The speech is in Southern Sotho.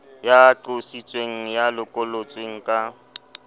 ya qositsweng ya lokollotsweng ka